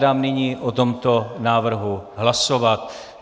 Dám nyní o tomto návrhu hlasovat.